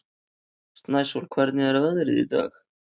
Snæsól, hvernig er veðrið í dag?